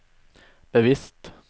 bevisst